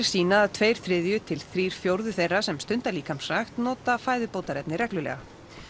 sýna að tveir þriðju til þrír fjórðu þeirra sem stunda líkamsrækt nota fæðubótarefni reglulega